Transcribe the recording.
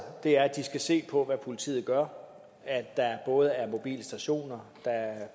er at de skal se på hvad politiet gør der er både mobile stationer der er